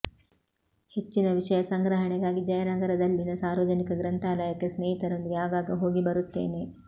ಹೆಚ್ಚಿನ ವಿಷಯ ಸಂಗ್ರಹಣೆಗಾಗಿ ಜಯನಗರದಲ್ಲಿನ ಸಾರ್ವಜನಿಕ ಗ್ರಂಥಾಲಯಕ್ಕೆ ಸ್ನೇಹಿತರೊಂದಿಗೆ ಆಗಾಗ ಹೋಗಿಬರುತ್ತೇನೆ